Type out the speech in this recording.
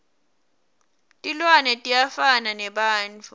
tilwane tiyafana nebantfu